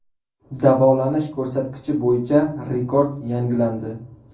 Davolanish ko‘rsatkichi bo‘yicha rekord yangilandi.